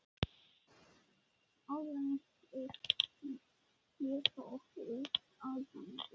Áður en þeir éta okkur út á gaddinn.